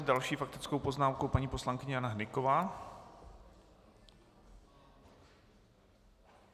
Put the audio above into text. S další faktickou poznámkou paní poslankyně Jana Hnyková.